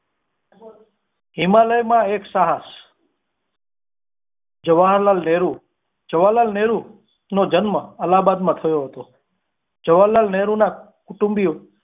હિમાલય માં એક સાહસ જવાહરલાલ નહેરુ જવાહરલાલ નહેરુ નો જન્મ અલ્લાહ બાદ માં થયો હતો જવાહરલાલ નહેરુ ના કુટુંબી ઓ.